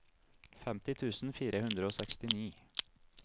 femti tusen fire hundre og sekstini